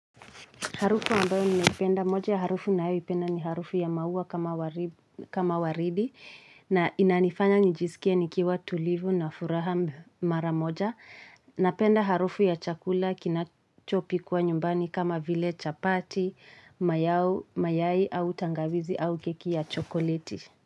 Harufu ambayo ninaipenda moja ya harufu ambayo naipenda ni harufu ya mauwa kama waridi na inanifanya nijisikie nikiwa tulivu na furaha mara moja. Napenda harufu ya chakula kinachopikuwa nyumbani kama vile chapati, mayai au tangavizi au keki ya chokoleti.